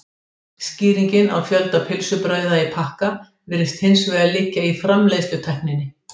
Skýringin á fjölda pylsubrauða í pakka virðist hins vegar liggja í framleiðslutækninni.